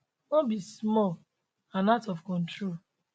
no be small and out of control